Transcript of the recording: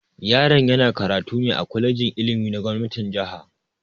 Yaron yana karatu ne a kwalejin ilimi na gomnatin jiha.